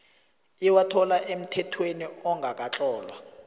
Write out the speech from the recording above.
iwathola emthethweni ongakatlolwa